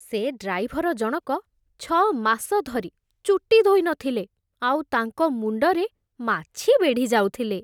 ସେ ଡ୍ରାଇଭର ଜଣକ ଛଅ ମାସ ଧରି ଚୁଟି ଧୋଇ ନଥିଲେ, ଆଉ ତାଙ୍କ ମୁଣ୍ଡରେ ମାଛି ବେଢ଼ିଯାଉଥିଲେ ।